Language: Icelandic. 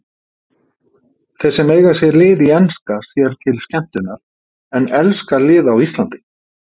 Þeir sem eiga sér lið í enska sér til skemmtunar en elska lið á Íslandi.